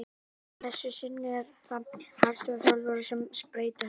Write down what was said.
Að þessu sinni eru það aðstoðarþjálfarar sem spreyta sig.